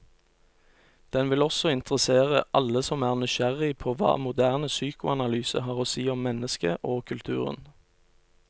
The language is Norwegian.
Den vil også interessere alle som er nysgjerrig på hva moderne psykoanalyse har å si om mennesket og kulturen.